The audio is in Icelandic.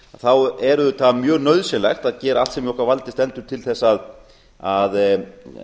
stjórnsýsluhindranirnar er auðvitað mjög nauðsynlegt að gera allt sem í okkar valdi stendur til þess að